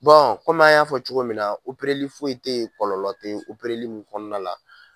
Bɔn kɔmi an y'a fɔ cogo min na opereli foyi te yen kɔlɔlɔ te opereli mun kɔnɔna la